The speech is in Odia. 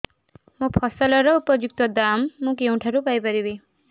ମୋ ଫସଲର ଉପଯୁକ୍ତ ଦାମ୍ ମୁଁ କେଉଁଠାରୁ ପାଇ ପାରିବି